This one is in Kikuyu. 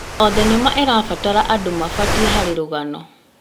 O thenema ĩrabatara andũ mabatiĩ harĩ rũgano.